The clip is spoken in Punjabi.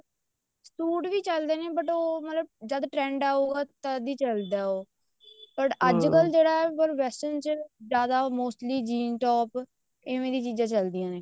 ਸੂਟ ਵੀ ਚੱਲਦੇ ਨੇ but ਉਹ ਮਤਲਬ ਜਦ trend ਆਏਗਾ ਤਦ ਹੀ ਚੱਲਦਾ ਉਹ but ਅੱਜਕਲ ਜਿਹੜਾ western ਚ ਜਿਆਦਾ mostly jean top ਏਵੇਂ ਦੀਆਂ ਚੀਜ਼ਾਂ ਚਲਦੀਆਂ ਨੇ